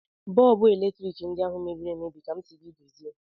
Bọlbụ eletrik ndị ahụ mebiri emebi ka m sịrị gị dozie